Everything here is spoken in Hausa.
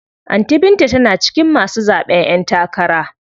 Anty binta tana cikin masu zaɓen ƴen takara.